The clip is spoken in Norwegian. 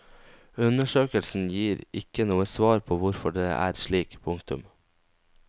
Undersøkelsen gir ikke noe svar på hvorfor det er slik. punktum